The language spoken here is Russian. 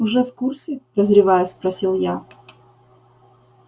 уже в курсе прозревая спросил я